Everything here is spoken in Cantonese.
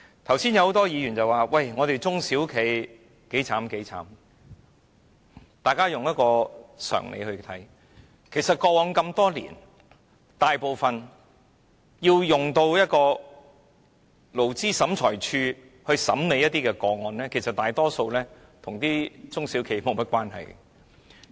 剛才多位議員說中小企有多淒涼，大家用常理來考慮，過往多年，大部分經勞審處審理的個案，其實都與中小企無關。